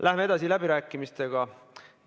Läheme läbirääkimistega edasi.